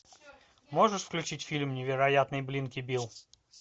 можешь включить фильм невероятный блинки билл